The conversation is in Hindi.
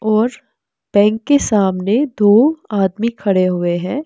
और बैंक के सामने दो आदमी खड़े हुए हैं।